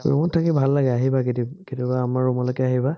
ৰুমত থাকি ভাল লাগে আহিবা কেতিয়াবা, কেতিয়াবা আমাৰ ৰুমলেকে আহিবা।